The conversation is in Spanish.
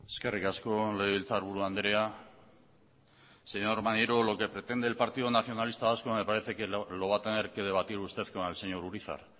eskerrik asko legebiltzarburu andrea señor maneiro lo que pretende el partido nacionalista vasco me parece que lo va a tener que debatir usted con el señor urizar